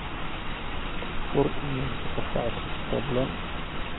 fur iimaylka qofka cusub fadhlan